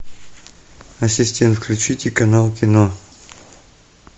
ассистент включите канал кино